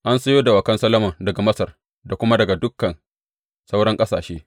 An sayo dawakan Solomon daga Masar da kuma daga dukan sauran ƙasashe.